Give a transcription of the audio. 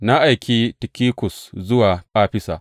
Na aiki Tikikus zuwa Afisa.